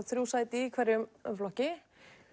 þrjú sæti í hverjum flokki